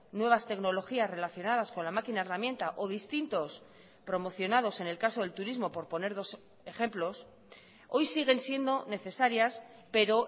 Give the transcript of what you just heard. nuevas tecnologías relacionadas con la maquina herramienta o distintos promocionados en el caso del turismo por poner dos ejemplos hoy siguen siendo necesarias pero